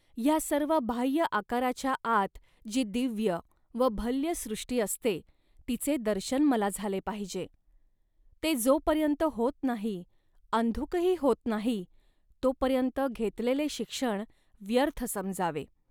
ह्या सर्व बाह्य आकाराच्या आत जी दिव्य व भल्य सृष्टी असते, तिचे दर्शन मला झाले पाहिजे. ते जोपर्यंत होत नाही, अंधुकही होत नाही, तोपर्यंत घेतलेले शिक्षण व्यर्थ समजावे